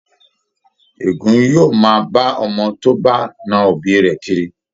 Êgùn yóò máa bá ọmọ tó bá na òbí rẹ̀ kiri